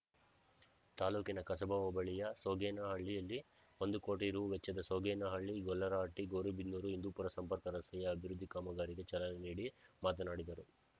ತಾಲ್ಲೂಕಿನ ಕಸಬಾ ಹೋಬಳಿಯ ಸೋಗೇನಹಳ್ಳಿಯಲ್ಲಿ ಒಂದು ಕೋಟಿ ರೂ ವೆಚ್ಚದ ಸೋಗೇನಹಳ್ಳಿಗೊಲ್ಲರಹಟ್ಟಿಗೌರಿಬಿದನೂರುಹಿಂದೂಪೂರ ಸಂಪರ್ಕ ರಸ್ತೆಯ ಅಭಿವೃದ್ಧಿ ಕಾಮಗಾರಿಗೆ ಚಾಲನೆ ನೀಡಿ ಮಾತನಾಡಿದರು